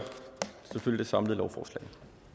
selvfølgelig det samlede lovforslag